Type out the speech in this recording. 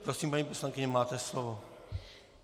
Prosím, paní poslankyně, máte slovo.